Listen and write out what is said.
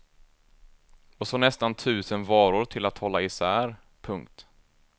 Och så nästan tusen varor till att hålla isär. punkt